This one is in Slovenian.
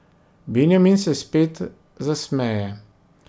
Benjamin se spet zasmeje.